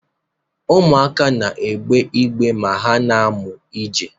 Ụmụaka na-arị igbe ma ha na-amụ ije.